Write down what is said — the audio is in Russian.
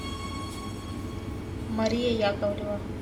мария яковлева